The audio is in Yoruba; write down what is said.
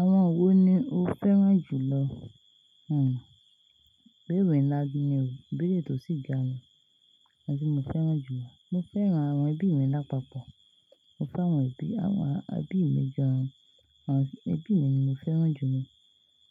Àwọn wo ni o fẹ́ràn jù lọ? Hmmm. Ìbéèrè ńlá bíi ni o, ìbẹ̀rẹ̀ tó sì ga ni, àwọn tí mo fẹ́ràn jù lọ. Mo fẹ́ràn àwọn ẹbí mi lápapọ̀. Mo fẹ́ àwọn ẹbí, àwọn ẹbí mi jọ, àwọn ẹbí mi ni mo fẹ́ràn jù lọ.